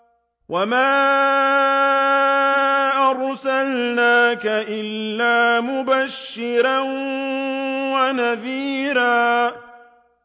وَمَا أَرْسَلْنَاكَ إِلَّا مُبَشِّرًا وَنَذِيرًا